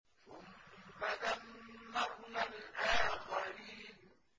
ثُمَّ دَمَّرْنَا الْآخَرِينَ